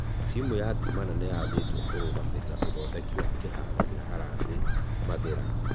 Timũ ya timana nĩyathĩtwo kũrũgamĩrĩra ũthodeki wa kiharo gia harambee mathĩra.